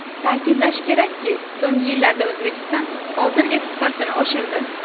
Ta’kidlash kerakki, so‘nggi yillarda O‘zbekiston oltin eksportini oshirdi.